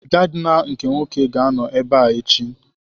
Gaadina nke Nwoke ga-anọ ebe a echi.